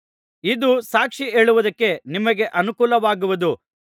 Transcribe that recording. ಇದು ಸಾಕ್ಷಿಹೇಳುವುದಕ್ಕೆ ನಿಮಗೆ ಅನುಕೂಲವಾಗುವುದು